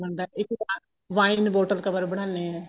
ਇੱਕ vine bottle cover ਬਣਾਨੇ ਆ